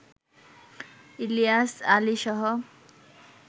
Ilias আলীসহ